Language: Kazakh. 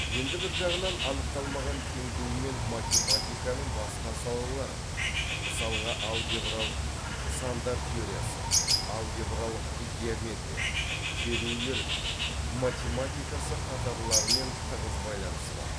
енді бір жағынан анықталмаған теңдеумен математиканың басқа салалары мысалға алгебралық сандар теориясы алгебралық геометрия терулер математикасы қатарлылармен тығыз байланысы бар